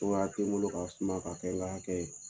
Cogoya te n bolo ka suma ka kɛ nka akɛ ye.